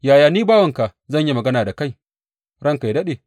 Yaya ni bawanka zan iya magana da kai, ranka yă daɗe?